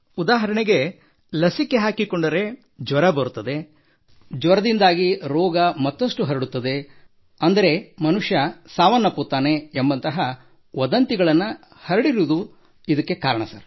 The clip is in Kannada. ಉದಾಹರಣೆಗೆ ಲಸಿಕೆ ಹಾಕಿಸಿಕೊಂಡರೆ ಜ್ವರ ಬರುತ್ತದೆ ಜ್ವರದಿಂದಾಗಿ ರೋಗ ಮತ್ತಷ್ಟು ಹರಡುತ್ತದೆ ಅಂದರೆ ಮನುಷ್ಯ ಸಾವನ್ನಪ್ಪುತ್ತಾನೆ ಎಂಬಂತಹ ವದಂತಿಗಳನ್ನು ಹರಡಿರುವುದು ಸರ್